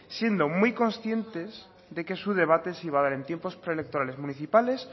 siendo muy conscientes de que su debate se iba a dar en tiempos preelectorales municipales